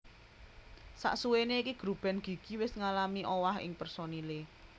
Sasuwene iki grup band Gigi wis ngalami owah ing personile